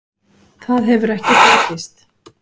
Það hefur ekki fengist.